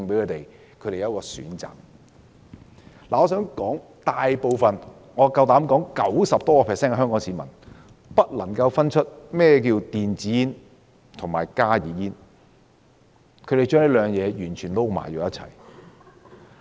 我大膽指出，超過 90% 的香港市民未能分辨甚麼是電子煙和加熱煙，並將兩者混為一談。